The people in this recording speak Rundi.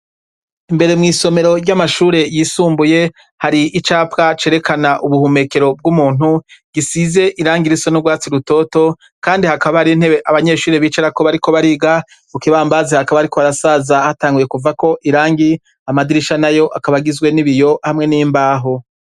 Mbere mw'isomero ry'amashure yisumbuye hari icapwa cerekana ubuhumekero bw'umuntu gisize irangi iriso n'urwatsi rutoto, kandi hakabari ntebe abanyeshuriri bicara ko bariko bariga ukibambazi hakaba ari ko arasaza hatanguye kuva ko irangi amadirisha na yo akabagizwe n'ibiyo hamwe n'imbaho.